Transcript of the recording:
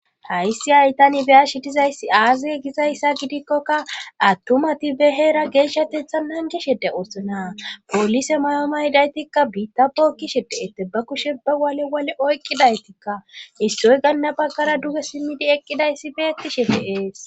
hayssi haytan ibeya shidizayssi aaza gizayssa gidikkoka attumati be heera geeshshatetha nanji shede oosonaa poolise mayooma hidaytikka biitta bookkishe de7ette ba kushe ba wale wole oyqqidaytikka issoy ganna baggara duge simmidi eqqidayssi beettishe deees